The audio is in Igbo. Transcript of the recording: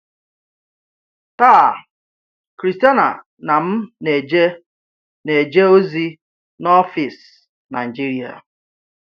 Taa, Christiana na m na-eje na-eje ozi na ọfịs Nigeria.